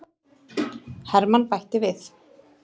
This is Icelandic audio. Hermann bætti við.